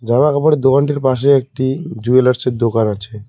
জামা কাপড়ের দোকানটির পাশে একটি জুয়েলার্সের দোকান আছে।